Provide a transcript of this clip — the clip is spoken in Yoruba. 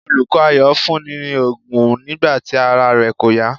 Olùkọ́ Ayọ̀ fún un ní òògùn nígbà tí ara rẹ kò yá.